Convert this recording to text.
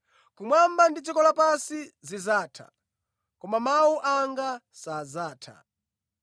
Kumwamba ndi dziko lapansi zidzatha, koma mawu anga sadzatha.”